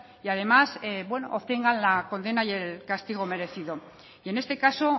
y además bueno obtengan la condena y el castigo merecido y en este caso